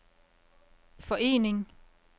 forening